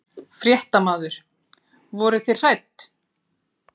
Fréttamaður: Voruð þið hrædd?